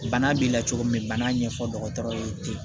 Bana b'i la cogo min bana ɲɛfɔ dɔgɔtɔrɔ ye ten